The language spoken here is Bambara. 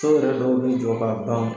So yɛrɛ dɔw bɛ jɔ k'a ban.